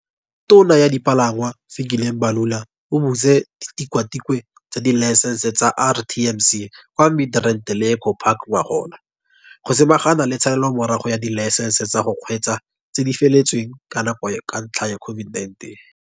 Tona ya Dipalangwa, Fikile Mbalula, o butse ditikwatikwe tsa dilaesense tsa RTMC kwa Midrand le Eco Park ngogola, go samagana le tshalelomorago ya dilaesense tsa go kgweetsa tse di feletsweng ke nako ka ntlha ya COVID-19.